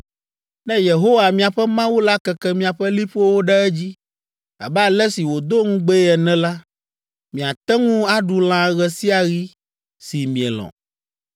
“Ne Yehowa, miaƒe Mawu la keke miaƒe liƒowo ɖe edzi abe ale si wòdo ŋugbee ene la, miate ŋu aɖu lã ɣe sia ɣi si mielɔ̃.